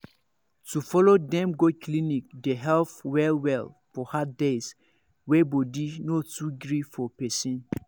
to follow dem go clinic dey help well well for hard days wey body no too gree for person.